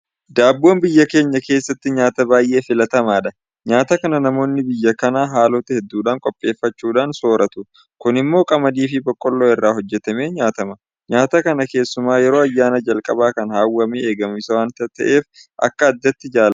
Daabboon biyya keenya keessatti nyaata baay'ee filatamaadha. Nyaata kana namoonni biyya kanaa haalota hedduudhaan qopheeffachuudhaan soorratu. Kun immoo Qamadiifi Boqqoolloo irraa hojjetamee nyaatama. Nyaata kana keessumaa yeroo ayyaanaa jalqaba kan hawwamee eegamu isa waanta ta'eef akka addaatti jaalatama.